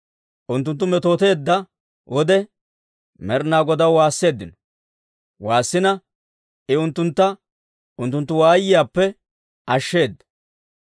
Unttunttu metooteedda wode, Med'inaa Godaw waasseeddino; I unttuntta unttunttu waayiyaappe ashsheedda.